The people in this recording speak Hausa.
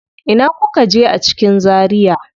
Ina kuka je a cikin Zaria?